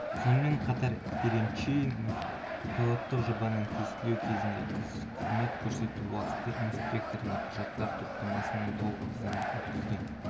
сонымен қатар еренчинов пилоттық жобаны тестілеу кезінде қызмет көрсету уақыты инспекторына құжаттар топтамасының толық тізімін өткізген